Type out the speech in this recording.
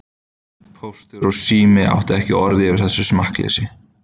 Póstur og Sími áttu ekki orð yfir þessa smekkleysu.